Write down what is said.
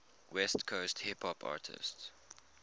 west coast hip hop artists